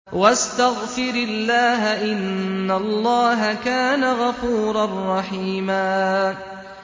وَاسْتَغْفِرِ اللَّهَ ۖ إِنَّ اللَّهَ كَانَ غَفُورًا رَّحِيمًا